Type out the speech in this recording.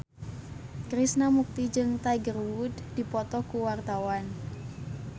Krishna Mukti jeung Tiger Wood keur dipoto ku wartawan